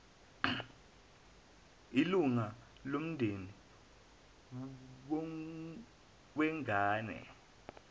ilunga lomndeni wengane